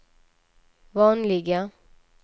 vanliga